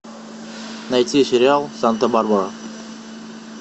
найти сериал санта барбара